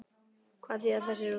Hvað þýða þessi úrslit?